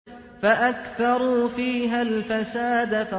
فَأَكْثَرُوا فِيهَا الْفَسَادَ